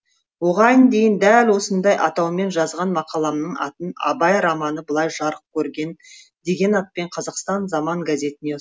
оған дейін дәл осындай атаумен жазған мақаламның атын абай романы былай жарық көрген деген атпен қазақстан заман газетіне